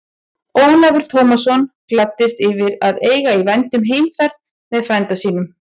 Ólafur Tómasson gladdist yfir að eiga í vændum heimferð með frænda sínum.